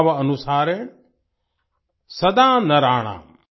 भाव अनुसारेण सदा नराणाम्